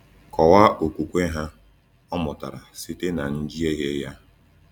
Kọwaa okwukwe ha — Ọ mụtara site na njehie ya.